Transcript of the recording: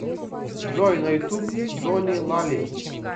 джой на ютуб джони лали